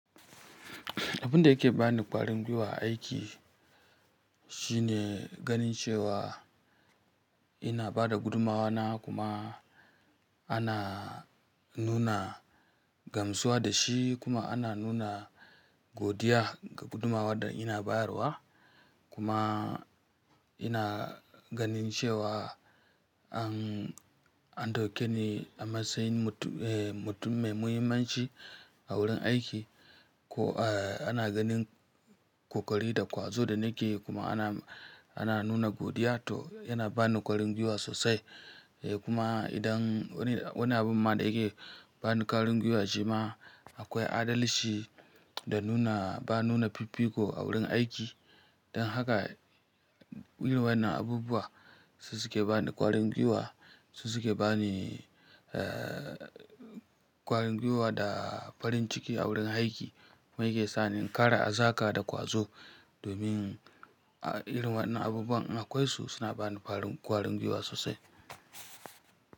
Abin da yake ba ni ƙwarin gwiwa a aiki shine ganin cewa ina ba da gudumawa na kuma ana nuna gamsuwa da shi kuma ana nuna godiya ga gudumawar da ina bayarwa. Kuma ina ganin cewa an ɗauke ni a matsayin mutum mai muhimmanci a wurin aiki. Ana ganin ƙoƙari da ƙwazo da nake yi kuma ana, ana nuna godiya to yana ba ni ƙwarin gwiwa sosai. Kuma idan wani abun ma da yake ba ni ƙwarin gwiwa shi ma akwai adalci da nuna, ba nuna fifiko a wurin aiki. Dan haka irin wayannan abubuwa su suke ba ni ƙwarin gwiwa, su suke ba ni, eh, ƙwarin gwiwa da farin ciki a wurin aiki. Kuma ya ke sa ni in kara hazaka da ƙwazo domin a irin wannan abubuwan akwai su suna ba ni farin ƙwarin gwiwa sosai.